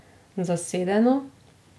Zasedeno.